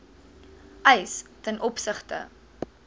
eis ten opsigte